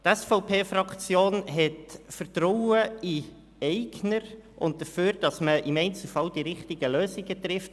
Die SVP-Fraktion hat Vertrauen in den Eigner und vertraut darauf, dass man im Einzelfall die richtigen Lösungen findet.